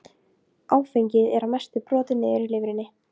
En samtal þeirra varð ekki lengra.